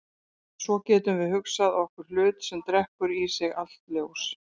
En svo getum við hugsað okkur hlut sem drekkur í sig allt ljós.